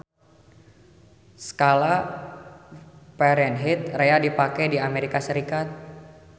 Skala Fahrenheit rea dipake di Amerika Serikat.